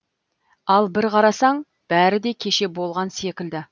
ал бір қарасаң бәрі де кеше болған секілді